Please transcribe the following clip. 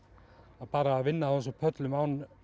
að bara að vinna á þessum pöllum án